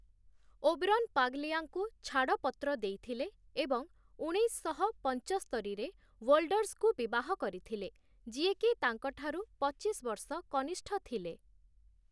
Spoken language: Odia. ଓବରନ୍ ପାଗ୍‌ଲିଆଙ୍କୁ ଛାଡ଼ପତ୍ର ଦେଇଥିଲେ ଏବଂ ଉଣେଇଶଶହ ପଞ୍ଚସ୍ତରିରେ ୱୋଲ୍ଡର୍ସଙ୍କୁ ବିବାହ କରିଥିଲେ, ଯିଏ କି ତାଙ୍କଠାରୁ ପଚିଶ ବର୍ଷ କନିଷ୍ଠ ଥିଲେ ।